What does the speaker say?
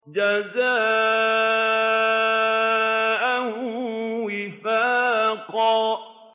جَزَاءً وِفَاقًا